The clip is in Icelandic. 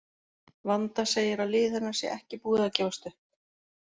Vanda segir að lið hennar sé ekki búið að gefast upp.